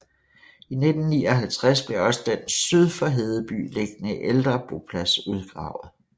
I 1959 blev også den syd for Hedeby liggende ældre boplads udgravet